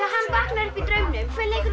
hann vaknar upp í draumnum